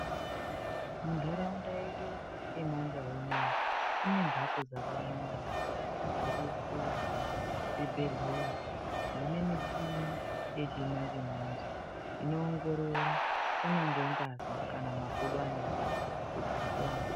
Mundaraunda yedu yemandau ineyi ine mhatso dzakawanda, dziripo kuzvibhedhlera dzine michini yechimanje manje, inoongorora kunyangwe ngazi kana makodo anorwadza kuti upone.